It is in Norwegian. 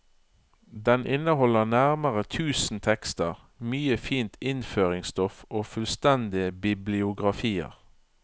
Den inneholder nærmere tusen tekster, mye fint innføringsstoff og fullstendige bibliografier.